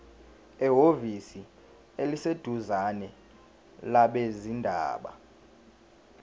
ehhovisi eliseduzane labezindaba